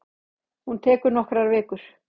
Hún tekur nokkrar vikur.